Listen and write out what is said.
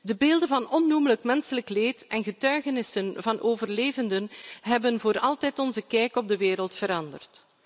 De beelden van onnoemelijk menselijk leed en getuigenissen van overlevenden hebben voor altijd onze kijk op de wereld veranderd.